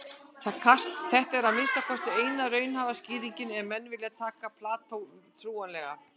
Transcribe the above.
Þetta er að minnsta kosti eina raunhæfa skýringin ef menn vilja taka Plató trúanlegan.